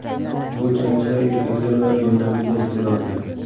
Bu jangchilar erkaklar va ayollar juda iste’dodli.